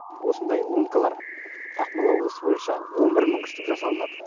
осындай ломкалар ақмола облысы бойынша он бір мың штук жасалынады